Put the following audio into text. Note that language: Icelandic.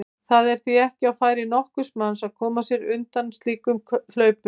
Það er því ekki á færi nokkurs manns að koma sér undan slíkum hlaupum.